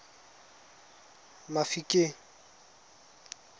mafikeng